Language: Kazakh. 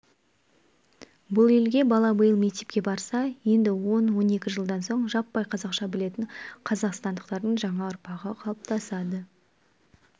бұл егер бала биыл мектепке барса енді он-он екі жылдан соң жаппай қазақша білетін қазақстандықтардың жаңа ұрпағы қалыптасады